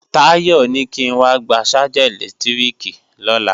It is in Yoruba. Táyọ̀ ní kí n wá gba ṣájà ẹ̀lẹ́tíríkì lọ́la